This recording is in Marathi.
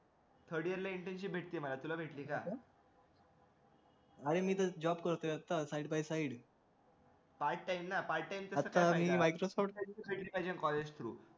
third year ला internship भेटली मला तुला भेटली का अरे मी तर job करतोय आता side by side